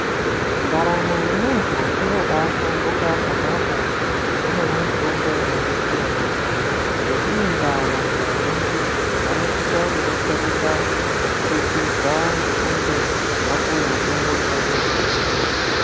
Ndaramo yemuntu inobaashanduka pona apo, paunomwe mutombo unodetsera yaampho. Ngeiyi ndaa vantu vazhiinji, vanosisa kudetsereka kubudikidza ngekunge, vapuwe mutombo chaiwo -chaiwo.